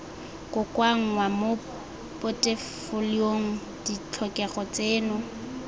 kokoanngwa mo potefoliong ditlhokego tseno